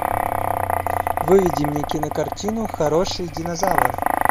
выведи мне кинокартину хороший динозавр